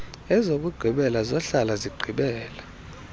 ezokugqibela zohlala zigqibela